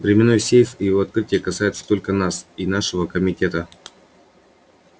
временной сейф и его открытие касаются только нас и нашего комитета